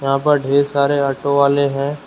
यहां पर ढेर सारे ऑटो वाले हैं।